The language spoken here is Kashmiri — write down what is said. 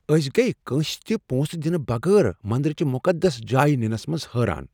أسۍ گٔیہِ کٲنٛسہ تہِ پونٛسہٕ دنہٕ بغٲر مندر چِہ مقدس جایِہ نِنس پٮ۪ٹھ حٲران۔